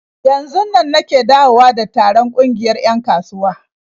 Yanzunnan nake dawowa da taron ƙungiyar 'yan kasuwa.